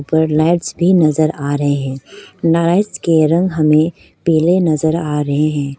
ऊपर लाइट्स भी नजर आ रहे हैं लाइट्स के रंग हमें पीले नजर आ रहे हैं।